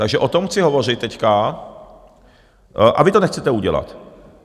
Takže o tom chci hovořit teď a vy to nechcete udělat.